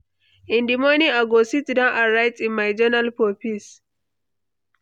In the morning, I go sit down and write in my journal for peace.